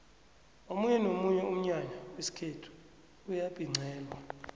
omunye nomunye umnyanya wesikhethu uyabhincelwa